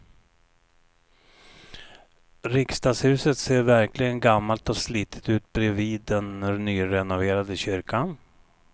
Riksdagshuset ser verkligen gammalt och slitet ut bredvid den nyrenoverade kyrkan.